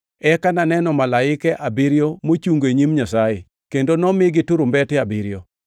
Eka naneno malaike abiriyo mochungo e nyim Nyasaye, kendo nomigi turumbete abiriyo.